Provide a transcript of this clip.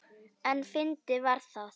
En fyndið var það.